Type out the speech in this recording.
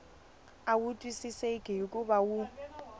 a wu twisiseki hikuva wu